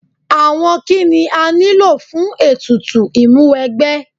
Àwọn kíni a nílò fún ètùtù Ìmúwẹgbẹ́?